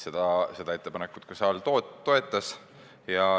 Seda ettepanekut saal ka toetas.